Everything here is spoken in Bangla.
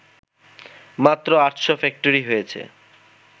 মাত্র আটশো ফ্যাক্টরি হয়েছে